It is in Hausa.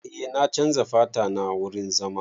Eh na chanza fata na wurin zama.